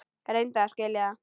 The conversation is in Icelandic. Reyndu að skilja það.